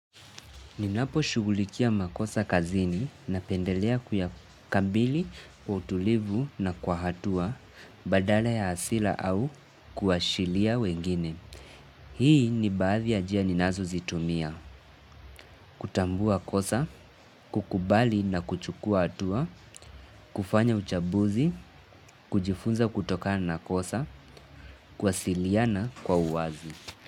Ninapo shughulikia makosa kazini, napendelea kuyakabili kwa utulivu na kwa hatua badala ya hasira au kuashilia wengine. Hii ni baadhi ya njia ninazo zitumia, kutambua kosa, kukubali na kuchukua hatua, kufanya uchambuzi, kujifunza kutokana na kosa, kuwasiliana kwa uwazi.